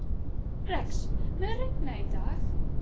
Rex, mun rigna í dag?